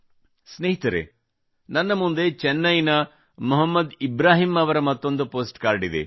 ಸ್ನೇಹಿತರೇ ನನ್ನ ಮುಂದೆ ಚೆನ್ನೈನ ಮೊಹಮ್ಮದ್ ಇಬ್ರಾಹಿಂ ಅವರ ಮತ್ತೊಂದು ಪೋಸ್ಟ್ ಕಾರ್ಡ್ ಇದೆ